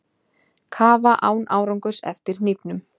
Kafa án árangurs eftir hnífnum